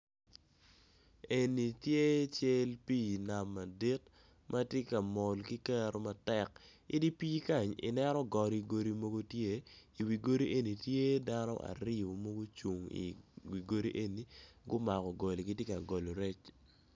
Eni tye cal pi nam madit matye ka mol ki kero matek, idi pi kany i neno godi godi mogo tye i wil godi eni tye dano aryo ma gucung i wi godi eni gumako goli gitye ka golo rec.